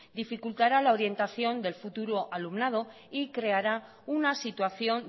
dificultará la orientación del futuro alumnado y creará una situación